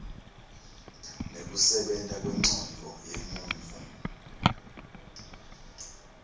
nekusebenta kwencondvo yemuntfu